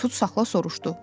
Tutsaqla soruşdu.